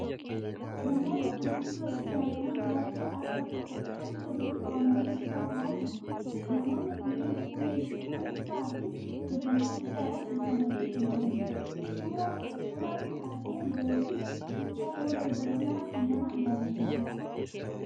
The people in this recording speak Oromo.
Namoota gurguddoo fi daa'imman baay'ee bakka tokkotti walitti qabamanii suuraa ka'aa jiran. Namoonni kunneen fuula ifaa fi gammachuu guddaadhaan guutamanii kan jiranidha. Suuraan taatee yeroo fi gochaa yeroo darbanii mara kan nama yaadachiisudha.